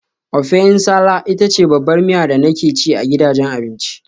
Ofẹ nsala ita ce babbar miya da nake ci a gidajen abinci.